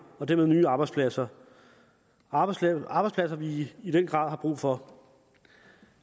og dermed nye arbejdspladser arbejdspladser arbejdspladser vi i den grad har brug for